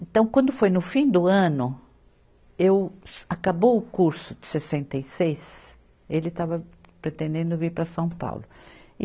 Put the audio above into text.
Então, quando foi no fim do ano eu, acabou o curso de sessenta e seis, ele estava pretendendo vir para São Paulo. e